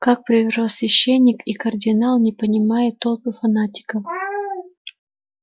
как первосвященник и кардинал он поднимает толпы фанатиков